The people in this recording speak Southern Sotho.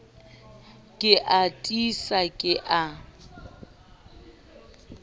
ke a tiisa ke a